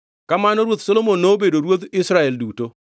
Kamano ruoth Solomon nobedo ruodh Israel duto.